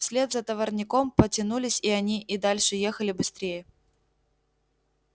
вслед за товарняком потянулись и они и дальше ехали быстрее